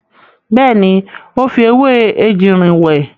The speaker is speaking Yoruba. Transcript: Bẹ́ẹ̀ni, ó fi ewé ejìrìn wẹ̀.